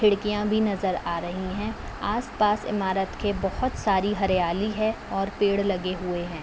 खिड़कियाँ भी नजर आ रही हैं। आस पास इमारत के बहुत सारी हरियाली है और पेड़ लगे हुए हैं।